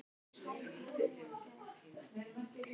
Björn Þorláksson: Hvað finnst þér um það?